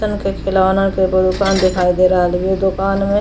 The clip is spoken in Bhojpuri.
लइकन के खिलौना के एगो दुकान दिखाई दे रहल वे ये दुकान में --